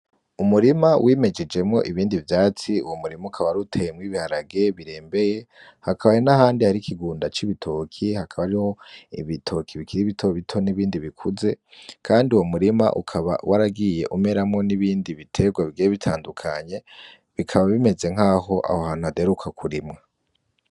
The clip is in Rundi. Umurima wimejejemwo ibindi vyatsi, uwo murima ukaba warutewemwo ibiharage birembeye hakabaye n'ahandi hari ikigunda c'ibitoki hakaba ariho ibitoki bikiri bitobito n'ibindi bikuze, kandi uwo murima ukaba waragiye umeramwo n'ibindi biterwa bigiye bitandukanye, bikaba bimeze nkaho aho hantu haderuka kurimwa.